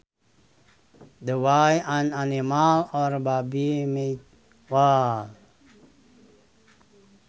The way an animal or baby might walk